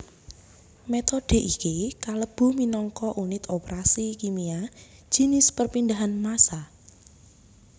Metode iki kalebu minangka unit operasi kimia jinis perpindahan massa